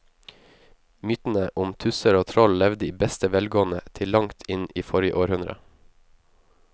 Mytene om tusser og troll levde i beste velgående til langt inn i forrige århundre.